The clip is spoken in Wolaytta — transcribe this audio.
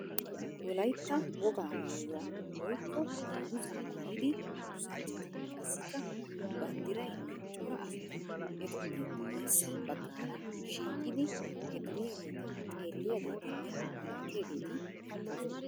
Wolayitta wogaa maayuwa woyikko dungguzza maayida durssanchchati qassikka banddirayinne cora asati etuppe guyyessa baggaara shiiqidi he duriyageetaa xeelliyageetinne malaatiyageeti beettoosona.